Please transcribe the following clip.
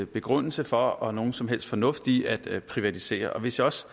begrundelse for og nogen som helst fornuft i at privatisere hvis jeg også